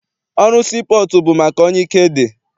Ọrụ sii pọọtụ bụ maka onye ike dị.